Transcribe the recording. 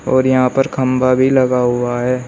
और यहां पर खंभा भी लगा हुआ है।